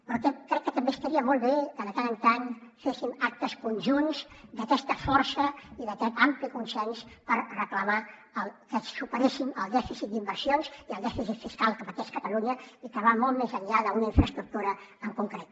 però crec que també estaria molt bé que de tant en tant féssim actes conjunts d’aquesta força i d’aquest ampli consens per reclamar que superéssim el dèficit d’inversions i el dèficit fiscal que pateix catalunya i que va molt més enllà d’una infraestructura en concret